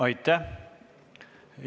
Aitäh!